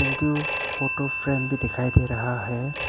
Photo frame भी दिखाई दे रहा है।